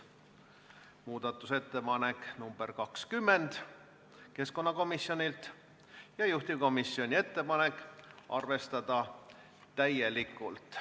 Muudatusettepanek nr 20 on keskkonnakomisjonilt, juhtivkomisjoni ettepanek on arvestada täielikult.